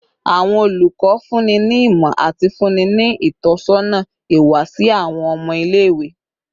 Awọn olukọ funni ni imọ ati funni ni itọsọna iwa si awọn ọmọ ile-iwe